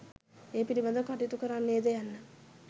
ඒ පිළිබඳව කටයුතු කරන්නේද යන්න